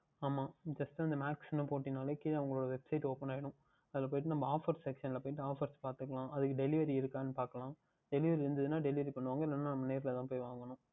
ஆமாம் நீ First அந்த Max என்று போட்டாலே அவர்களுடைய Website Open ஆகிவிடும் அதில் போய்விட்டு நாம் Offer Seaction யில் போய்ட்டு Offers பார்த்துக்கொள்ளலாம் அதற்கும் Delivery இருக்கின்றதா என்று பார்க்கலாம் இருந்தது என்றால் Delivery பண்ணுவார்கள் இல்லையென்றால் நாம் நாமே சென்று தான் வாங்கவேண்டும்